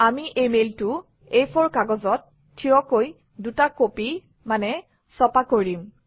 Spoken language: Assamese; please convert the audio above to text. আমি এই মেইলটো এ ফৰ কাগজত থিয়কৈ দুটা কপি ছপা কৰিম